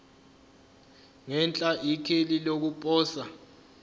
ngenhla ikheli lokuposa